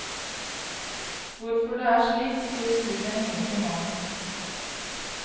Hvorfor det er slik, sier studien ingenting om.